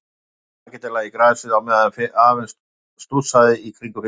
Strákarnir lögðust makindalega í grasið á meðan afinn stússaði í kringum fiskinn.